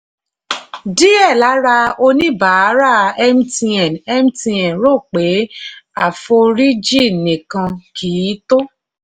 díẹ̀ lára oníbàárà mtn mtn ro pé àforíjì nìkan kì í tó.